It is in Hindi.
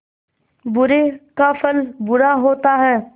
बुरे का फल बुरा होता है